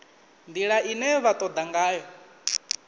ndila ine vha toda ngayo